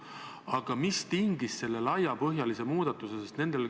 Aga mis tingis selle laiapõhjalise muudatuse?